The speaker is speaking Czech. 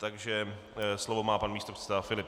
Takže slovo má pan místopředseda Filip.